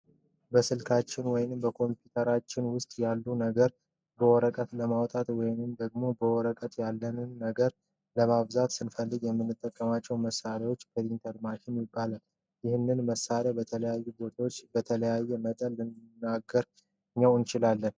በስልካችን ወይም ኮምፒውተራችን ውስጥ ያለን ነገር በወረቀት ለማውጣት ወይም ደግሞ በወረቀት ያለንን ነገር ለማባዛት ስንፈልግ የምንጠቀምበት መሳሪያ ፕሪንተር ማሽን ይባላል። ይህንን መሳሪያ በተለያዩ ቦታዎች በተለያየ መጠን ልናገኘው እንችላለን።